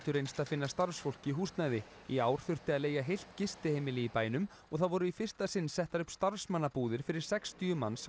reynst að finna starfsfólki húsnæði í ár þurfti að leigja heilt gistiheimili í bænum og þá voru í fyrsta sinn settar upp starfsmannabúðir fyrir sextíu manns á